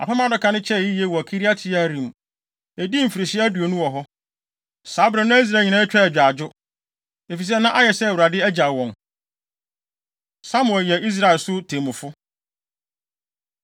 Apam Adaka no kyɛe yiye wɔ Kiriat-Yearim. Edii mfirihyia aduonu wɔ hɔ. Saa bere no Israel nyinaa twaa agyaadwo, efisɛ na ayɛ sɛ Awurade agyaw wɔn. Samuel Yɛ Israel So Temmufo